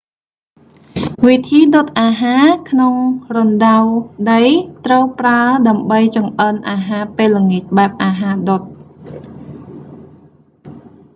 វិធីដុតអាហារក្នុងរណ្តៅដី ត្រូវប្រើដើម្បីចម្អិនអាហារពេលល្ងាចបែបអាហារដុត